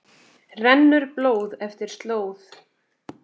rennur blóð eftir slóð